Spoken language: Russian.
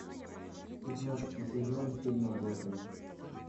пятнадцатый сезон фильма готэм